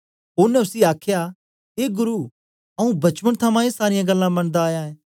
ओनें उसी आखया ए गुरु आऊँ बचपन थमां ए सारीयां गल्लां मनदा आया ऐं